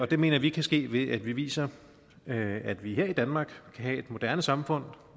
det mener vi kan ske ved at vi viser at vi her i danmark kan have et moderne samfund